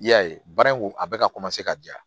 I y'a ye baara in a bɛ ka ka ja